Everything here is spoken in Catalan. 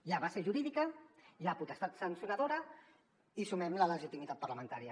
hi ha base jurídica hi ha potestat sancionadora i sumem la legitimitat parlamentària